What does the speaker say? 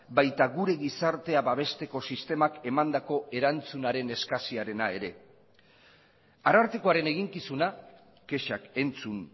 baita gure gizartea babesteko sistemak emandako erantzunaren eskasiarena ere arartekoaren eginkizuna kexak entzun